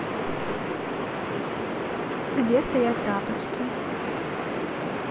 где стоят тапочки